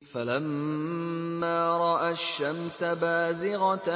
فَلَمَّا رَأَى الشَّمْسَ بَازِغَةً